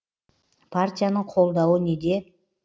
партияның қолдауы неде